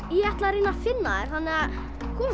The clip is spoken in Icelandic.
ég ætla að reyna að finna þær komið